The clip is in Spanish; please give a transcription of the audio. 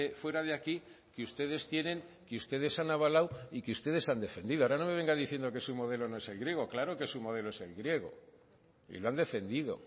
fuera de aquí que ustedes tienen que ustedes han avalado y que ustedes han defendido ahora no me venga diciendo que su modelo no es el griego claro que su modelo es el griego y lo han defendido